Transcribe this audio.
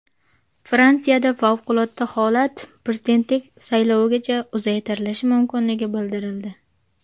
Fransiyada favqulodda holat prezidentlik saylovigacha uzaytirilishi mumkinligi bildirildi.